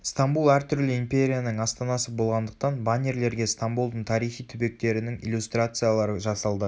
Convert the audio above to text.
стамбул әртүрлі империяның астанасы болғандықтан баннерлерге стамбулдың тарихи түбектерінің иллюстрациялары жасалды